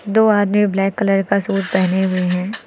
दो आदमी black colour का सूट पहने हुए हैं।